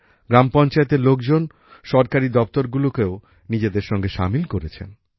গ্রাম পঞ্চায়েতের লোকজন সরকারি দপ্তরগুলোকেও নিজেদের সঙ্গে সামিল করেছেন